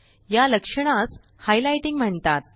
या लक्षणासhighlightingम्हणतात